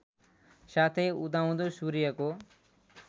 साथै उदाउँदो सूर्यको